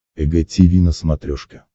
эг тиви на смотрешке